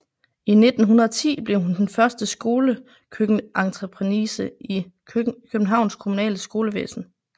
I 1910 blev hun den første skolekøkkeninspektrice i Københavns kommunale skolevæsen